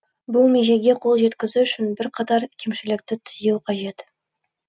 бұл межеге қол жеткізу үшін бірқатар кемшілікті түзеу қажет